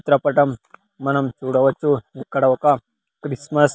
చిత్రపటం మనం చూడవచ్చు ఇక్కడ ఒక క్రిస్మస్--